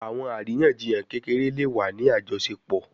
Awọn ariyanjiyan kekere le wa ni ajọṣepọ